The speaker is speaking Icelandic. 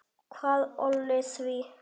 Hvað olli því?